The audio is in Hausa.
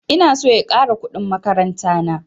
Ina son ya ƙara kuɗin makaranta na